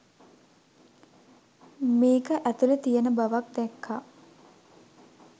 මේක ඇතුළෙ තියෙන බවක් දැක්කා.